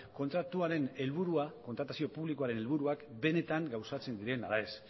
kontratuaren helburua kontratazio publikoaren helburuak benetan gauzatzen diren ala ez